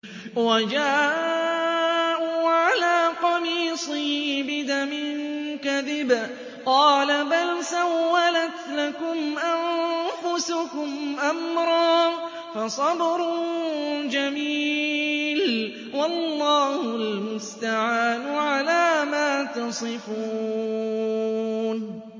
وَجَاءُوا عَلَىٰ قَمِيصِهِ بِدَمٍ كَذِبٍ ۚ قَالَ بَلْ سَوَّلَتْ لَكُمْ أَنفُسُكُمْ أَمْرًا ۖ فَصَبْرٌ جَمِيلٌ ۖ وَاللَّهُ الْمُسْتَعَانُ عَلَىٰ مَا تَصِفُونَ